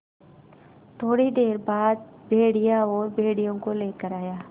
थोड़ी देर बाद भेड़िया और भेड़ियों को लेकर आया